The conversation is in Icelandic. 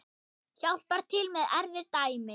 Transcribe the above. Hjálpar til með erfið dæmi.